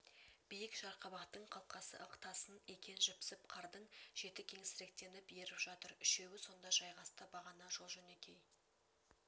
биік жарқабақтың қалқасы ықтасын екен жіпсіп қардың шеті кеңсіріктеніп еріп жатыр үшеуі сонда жайғасты бағана жолжөнекей